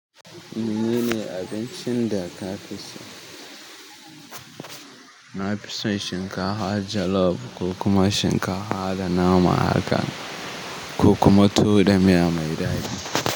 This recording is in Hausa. Menene abincin da ka fi so? Na fi son shinkafa jollof ko kuma shinkafa da naman haka ko kuma tuwo da miya mai daɗi.